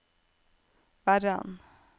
Verran